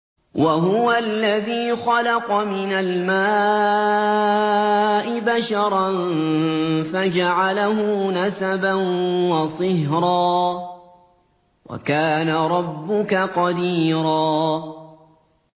وَهُوَ الَّذِي خَلَقَ مِنَ الْمَاءِ بَشَرًا فَجَعَلَهُ نَسَبًا وَصِهْرًا ۗ وَكَانَ رَبُّكَ قَدِيرًا